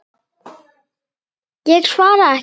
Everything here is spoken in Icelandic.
Ég svara ekki.